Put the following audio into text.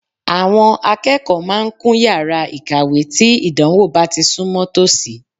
Àwọn akẹ́kọ̀ọ́ máa ń kún yàrá ìkàwé tí ìdánwò bá ti súnmọ́ tòsí